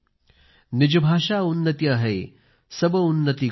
निज भाषा उन्नति अहै सब उन्नति को मूल